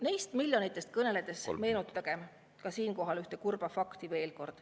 Neist miljonitest kõneledes meenutagem siinkohal veel kord ühte kurba fakti.